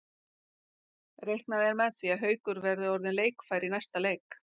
Reiknað er með því að Haukur verði orðinn leikfær í næsta leik.